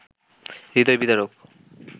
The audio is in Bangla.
হৃদয় বিদারক